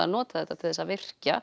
nota þetta til að virkja